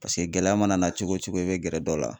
Paseke gɛlɛya mana na cogo cogo e be gɛrɛ dɔ la